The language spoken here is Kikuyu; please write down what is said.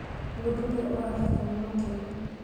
mũndũ ũrĩa ũratheka nĩ mũkenu